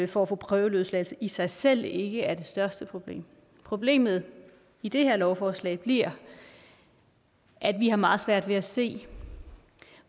for at få prøveløsladelse i sig selv ikke er det største problem problemet i det her lovforslag bliver at vi har meget svært ved at se